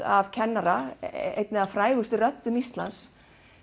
af kennara einni af frægustu röddum Íslands